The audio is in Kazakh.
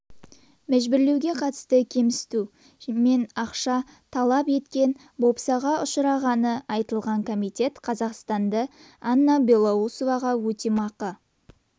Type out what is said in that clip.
мәжбүрлеуге қатысты кемсіту мен ақша талеп еткен бопсаға ұшырағаны айтылған комитет қазақстанды анна белоусоваға өтемақы